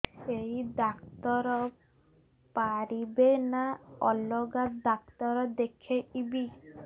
ଏଇ ଡ଼ାକ୍ତର ପାରିବେ ନା ଅଲଗା ଡ଼ାକ୍ତର ଦେଖେଇବି